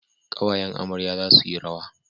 Kawayen amarya za su yi rawa